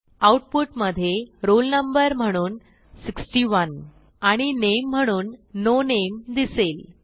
आऊटपुटमधे roll number म्हणून 61 आणि नामे म्हणून नो नामे दिसेल